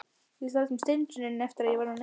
Ég sat sem steinrunnin eftir að ég var orðin ein.